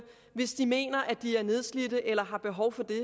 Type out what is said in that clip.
hvis de mener at de er nedslidte eller har behov for